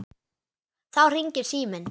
Þá hringir síminn.